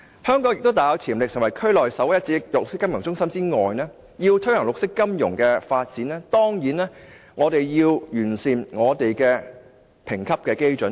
香港雖大有潛力可成為區內首屈一指的綠色金融中心，但要推行綠色金融發展，當然亦必須完善本港的評級基準。